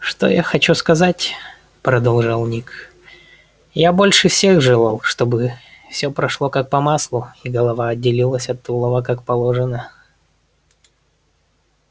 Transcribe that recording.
что я хочу сказать продолжал ник я больше всех желал чтобы всё прошло как по маслу и голова отделилась от тулова как положено